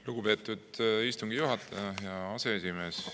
Lugupeetud istungi juhataja, hea aseesimees!